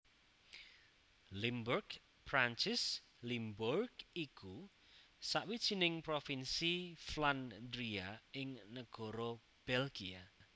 Limburg Perancis Limbourg iku sawijining provinsi Flandria ing negara Belgia